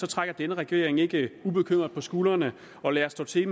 trækker denne regering ikke ubekymret på skuldrene og lader stå til